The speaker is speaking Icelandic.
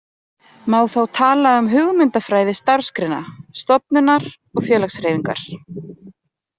Má þá tala um hugmyndafræði starfsgreinar, stofnunar og félagshreyfingar.